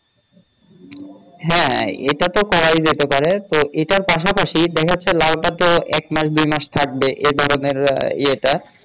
হ্যাঁ এটা তো করাই যেতে পারে তো এটার পাশাপাশি দেখা যাচ্ছে লাউটা তো এক মাস দু মাস থাকবে এ ধরনের ইয়ে টা